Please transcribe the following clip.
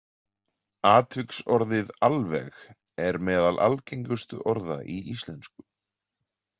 Atviksorðið alveg er meðal algengustu orða í íslensku.